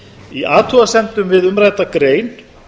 í athugasemdum við umrædda grein